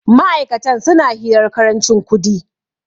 ma'aikatan suna hirar karancin kudi